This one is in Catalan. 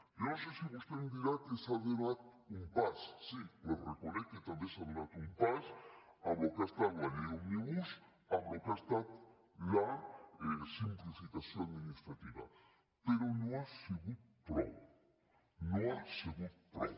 jo no sé si vostè em dirà que s’ha donat un pas sí li reconec que també s’ha donat un pas amb el que ha estat la llei òmnibus en el que ha estat la simplificació administrativa però no ha sigut prou no ha sigut prou